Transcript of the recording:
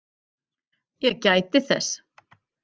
Ég gæti þess.